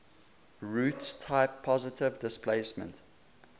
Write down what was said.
roots type positive displacement